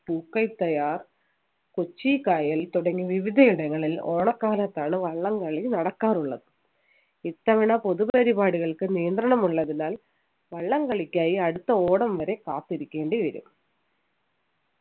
പൂക്കറ്റയാർ കൊച്ചി കായൽ തുടങ്ങി വിവിധ ഇടങ്ങളിൽ ഓണക്കാലത്താണ് വള്ളംകളി നടക്കാറുള്ളത് ഇത്തവണ പൊതുപരിപാടികൾക്ക് നിയന്ത്രണം ഉള്ളതിനാൽ വള്ളംകളിക്കായി അടുത്ത ഓണ വരെ കാത്തിരിക്കേണ്ടിവരും